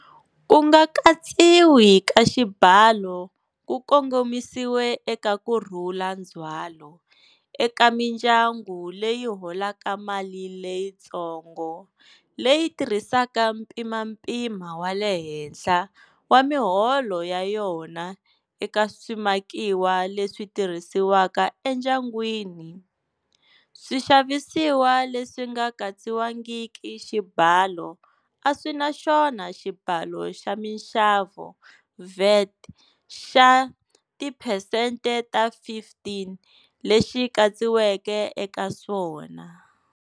Ku nga katsiwi ka xibalo ku kongomisiwe eka kurhula ndzhwalo eka mindyangu leyi holaka mali leyitsongo leyi tirhisaka mpimampima wa le henhla wa miholo ya yona eka swimakiwa leswi tirhisiwaka endyangwini. Swixavisiwa leswi nga katsiwangiki xibalo a swi na xona Xibalo xa Minxavo, VAT, xa tiphesente ta 15 lexi katsiweke eka swona.